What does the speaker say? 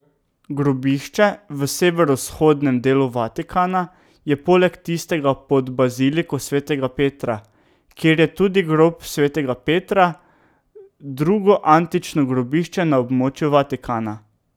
Grobišče v severovzhodnem delu Vatikana je poleg tistega pod baziliko svetega Petra, kjer je tudi grob svetega Petra, drugo antično grobišče na območju Vatikana.